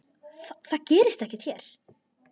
Það gerist ekki hér.